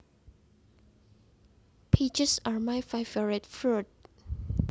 Peaches are my favorite fruit